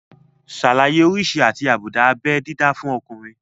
Ṣàlàyé oríṣi àti àbùdá abé dídá fún ọkùnrin